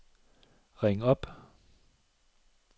ring op